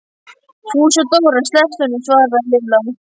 Fúsi og Dóri slepptu honum svaraði Lilla.